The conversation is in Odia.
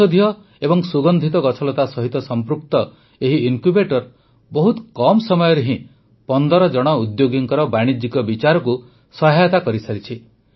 ଔଷଧୀୟ ଏବଂ ସୁଗନ୍ଧିତ ଗଛଲତା ସହିତ ସଂପୃକ୍ତ ଏହି ଇନକ୍ୟୁବେଟର ବହୁତ କମ୍ ସମୟରେ ହିଁ ୧୫ ଜଣ ଉଦ୍ୟୋଗୀଙ୍କ ବାଣିଜି୍ୟକ ବିଚାରକୁ ସହାୟତା କରିସାରିଛନ୍ତି